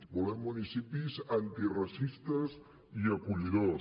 volem municipis antiracistes i acollidors